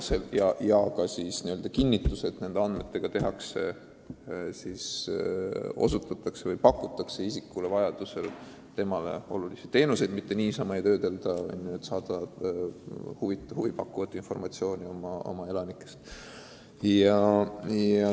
Peab olema kinnitus, et nendele andmetele tuginedes pakutakse noorele inimesele, kui ta seda soovib, talle vajalikke teenuseid, mitte ei uurita andmeid lihtsalt selleks, et saada huvipakkuvat informatsiooni oma elanike kohta.